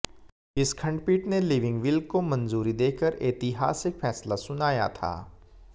इस खंडपीठ ने लिविंग विल को मंजूरी देकर ऐतिहासिक फैसला सुनाया था